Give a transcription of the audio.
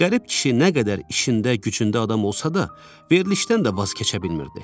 Qərib kişi nə qədər işində, gücündə adam olsa da, verilişdən də vaz keçə bilmirdi.